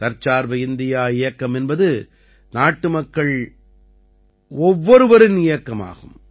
தற்சார்பு இந்தியா இயக்கம் என்பது நாட்டு மக்கள் ஒவ்வொருவரின் இயக்கமாகும்